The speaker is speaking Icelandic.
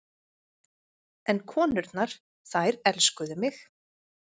En konurnar, þær elskuðu mig.